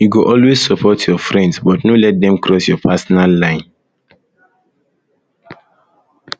you go always support your friends but no let dem cross your personal line